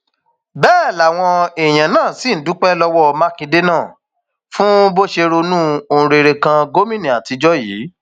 um bẹẹ làwọn èèyàn náà ṣì ń dúpẹ lọwọ mákindè náà um fún bó ṣe ronú ohun rere kan gómìnà àtijọ yìí